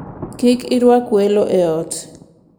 Kik irwak welo e ot.